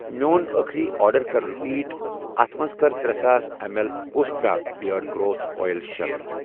میٚون أٔخری آرڈر کر رِپیٖٹ تہٕ اتھ مَنٛز کر ترے ساس M L Ustraa beard growth oil شٲمِل۔